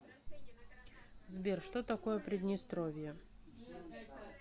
сбер что такое приднестровье